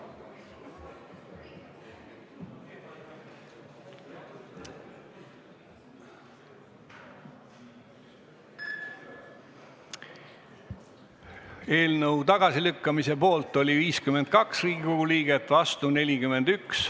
Hääletustulemused Eelnõu tagasilükkamise poolt oli 52 Riigikogu liiget, vastu oli 41.